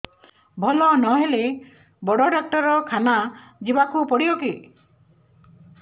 ଭଲ ନହେଲେ ବଡ ଡାକ୍ତର ଖାନା ଯିବା କୁ ପଡିବକି